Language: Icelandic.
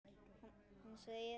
Hann segir: